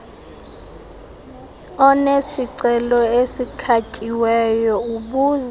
onesicelo esikhatyiweyo ubuza